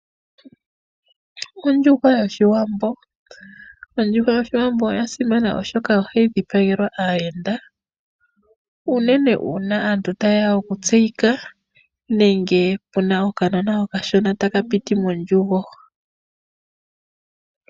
Ondjuhwa yoshiwambo, ondjuhwa yoshiwanbo oya simana oshoka ohayi dhipagelwa aayenda. Unene uuna aantu ta yeya oku tseyika nenge puna okanona okashona taka piti mondjugo.